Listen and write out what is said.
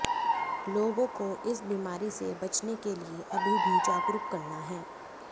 लोगों को इस बीमारी से बचने के लिए अभी भी जागरूक करना है